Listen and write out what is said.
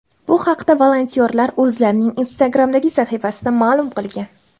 Bu haqda volontyorlar o‘zlarining Instagram’dagi sahifasida ma’lum qilgan.